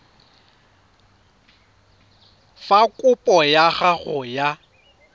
fa kopo ya gago ya